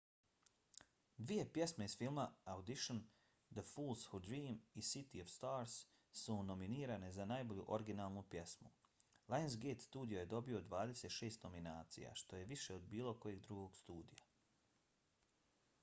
dvije pjesme iz filma audition the fools who dream i city of stars su nominirane za najbolju originalnu pjesmu. lionsgate studio je dobio 26 nominacija što je više od bilo kojeg drugog studija